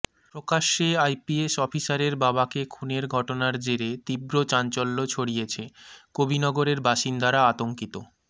প্রকাশ্যে আইপিএস অফিসারের বাবাকে খুনের ঘটনার জেরে তীব্র চাঞ্চল্য ছড়িয়েছে কবি নগরের বাসিন্দারা আতঙ্কিত